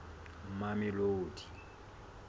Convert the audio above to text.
mamelodi